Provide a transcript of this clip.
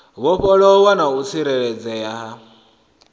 vhofholowa na u tsireledzea ha